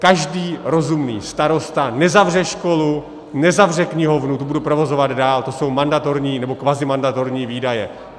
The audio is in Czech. Každý rozumný starosta nezavře školu, nezavře knihovnu, ty bude provozovat dál, to jsou mandatorní, nebo kvazimandatorní výdaje.